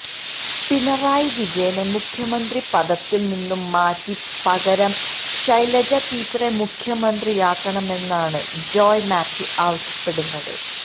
പിണറായി വിജയനെ മുഖ്യമന്ത്രിപദത്തിൽ നിന്നും മാറ്റി പകരം ശൈലജ ടീച്ചറെ മുഖ്യമന്ത്രിയാക്കണമെന്നാണ് ജോയ് മാത്യു ആവശ്യപ്പെടുന്നത്